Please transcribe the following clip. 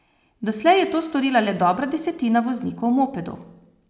Doslej je to storila le dobra desetina voznikov mopedov.